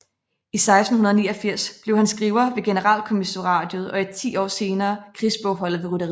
I 1689 blev han skriver ved Generalkommissariatet og ti år senere krigsbogholder ved rytteriet